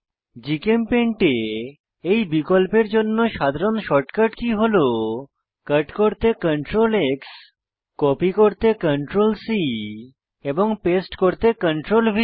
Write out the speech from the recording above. GChemPaint এ এই বিকল্পের জন্য সাধারণ শর্ট কট কী হল কট করতে Ctrl X কপি করতে Ctrl C পেস্ট করতে Ctrl ভি